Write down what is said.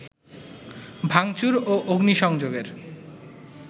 ভাংচুর ও অগ্নিসংযোগের